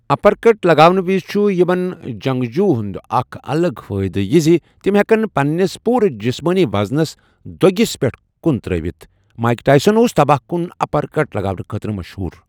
اپر cut لگاونہٕ وزِ چھُ یِمَن جَنٛگجوٗو ہنٛد اکھ الگ فٲئدٕ یہِ زِ تِم ہیکَن پننِس پوٗرٕ جِسمٲنی وزنَس دۄگِس پتھ کُن ترٲوِتھ، مائیک ٹائسن اوس تباہ کُن اپر کٹ لگاونہٕ خٲطرٕ مشہوٗر۔